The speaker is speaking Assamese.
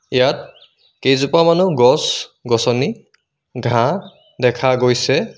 ইয়াত কেইজপামানো গছ-গছনি ঘাঁহ দেখা গৈছে।